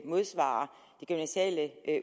modsvarer de gymnasiale